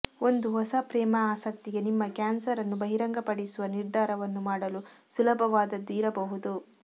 ಒಂದು ಹೊಸ ಪ್ರೇಮ ಆಸಕ್ತಿಗೆ ನಿಮ್ಮ ಕ್ಯಾನ್ಸರ್ ಅನ್ನು ಬಹಿರಂಗಪಡಿಸುವ ನಿರ್ಧಾರವನ್ನು ಮಾಡಲು ಸುಲಭವಾದದ್ದು ಇರಬಹುದು